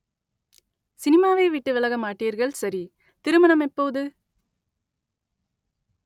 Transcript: சினிமாவைவிட்டு விலக மாட்டீர்கள் சரி திருமணம் எப்போது